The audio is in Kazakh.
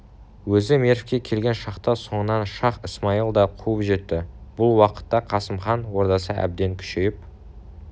өзі мервке келген шақта соңынан шах-ысмайыл да қуып жетті бұл уақытта қасым хан ордасы әбден күшейіп